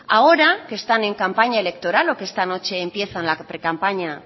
ahora que están en campaña electoral o que esta noche empiezan la precampaña